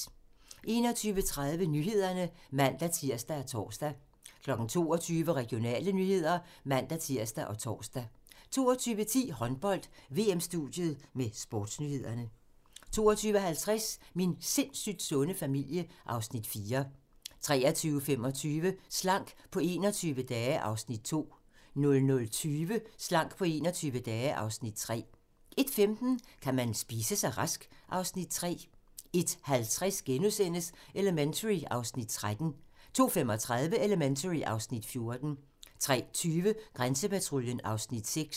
21:30: Nyhederne (man-tir og tor) 22:00: Regionale nyheder (man-tir og tor) 22:10: Håndbold: VM-studiet med sportsnyhederne 22:50: Min sindssygt sunde familie (Afs. 4) 23:25: Slank på 21 dage (Afs. 2) 00:20: Slank på 21 dage (Afs. 3) 01:15: Kan man spise sig rask? (Afs. 3) 01:50: Elementary (Afs. 13)* 02:35: Elementary (Afs. 14) 03:20: Grænsepatruljen (Afs. 6)